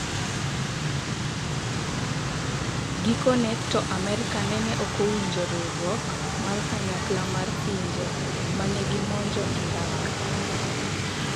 Gikone to Amerka nene okowinjo riuruok mar Kanyakla mar pinje ma negimonjo Iraq.